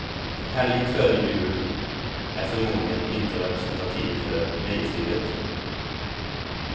Helgen före jul är förmodligen inte representiv för nöjeslivet.